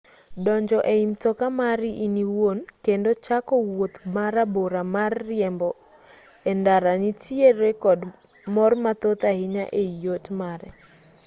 donjo ei mtoka mari in iwuon kendo chako wuoth marabora mar riembo e ndara nitiere kod mor mathoth ahinya ei yot mare